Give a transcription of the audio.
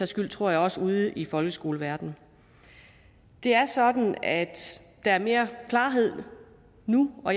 skyld tror jeg også ude i folkeskoleverdenen det er sådan at der er mere klarhed nu og